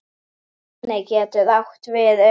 Mjölnir getur átt við um